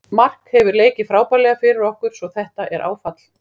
Mark hefur leikið frábærlega fyrir okkur svo þetta er áfall.